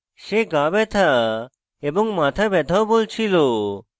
she গা ব্যথা এবং মাথা ব্যাথাও বলছিল